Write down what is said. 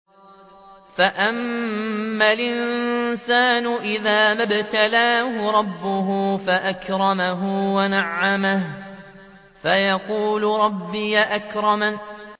فَأَمَّا الْإِنسَانُ إِذَا مَا ابْتَلَاهُ رَبُّهُ فَأَكْرَمَهُ وَنَعَّمَهُ فَيَقُولُ رَبِّي أَكْرَمَنِ